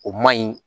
O man ɲi